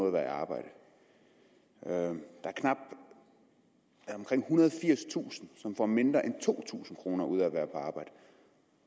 at være i arbejde der er omkring ethundrede og firstusind som får mindre end to tusind kroner ud af at være på arbejde